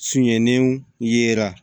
Sunyaniw yera